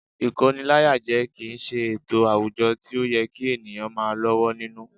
Ìkóniláyàjẹ kì í ṣe ètò àwùjọ tí ó yẹ kí ènìyàn máa lọ́wọ́ nínú